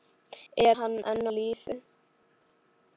Er hann enn á lífi?